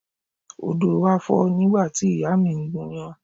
Odo wa fo nígbà tí ìyá mi ń gúnyán.